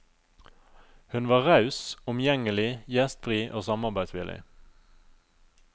Hun var raus, omgjengelig, gjestfri og samarbeidsvillig.